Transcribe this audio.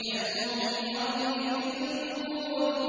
كَالْمُهْلِ يَغْلِي فِي الْبُطُونِ